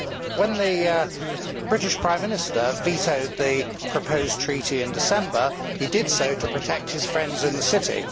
When the British Prime Minister vetoed the proposed treaty in December, he did so to protect his friends in the City.